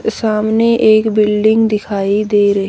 सामने एक बिल्डिंग दिखाई दे र--